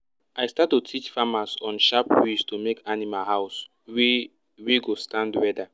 i start to teach farmers on sharp ways to make animal house wey wey go stand weather